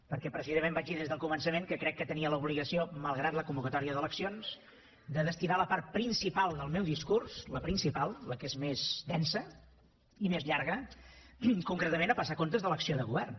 perquè precisament vaig dir des del començament que crec que tenia l’obligació malgrat la convocatòria d’eleccions de destinar la part principal del meu discurs la principal la que és més densa i més llarga concretament a passar comptes de l’acció de govern